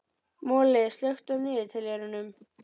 Moli, slökktu á niðurteljaranum.